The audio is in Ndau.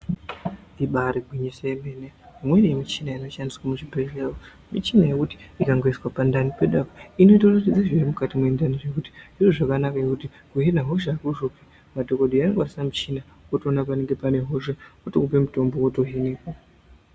Ibairi gwinyiso yemene munemushina inoshandiswe muzvibhehleya mushina yekuti ikangoiswa pandani pedu apa inotoratidze zviri mukati mwendani zvekuti ndozvakanaka ngekuti kuhena hosha kuhloya madhokodheya anokwanisa mushina otoona panenga panehosha otokupe mutombo woto heneka.